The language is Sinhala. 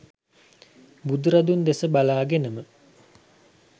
බුදුරදුන් දෙස බලාගෙනම